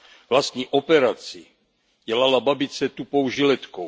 Vlastní operaci dělala babice tupou žiletkou.